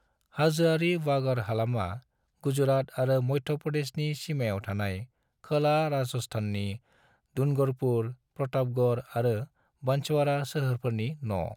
हाजोआरि वागड़ हालामा गुजरात आरो मध्य प्रदेशनि सीमायाव थानाय खोला राजस्थाननि डूंगरपुर, प्रतापगढ़ आरो बांसवाड़ा सोहोरफोरनि न'।